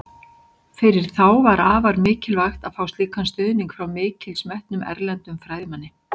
Fyrir þá var afar mikilvægt að fá slíkan stuðning frá mikils metnum, erlendum fræðimanni.